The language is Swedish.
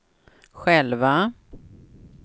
själva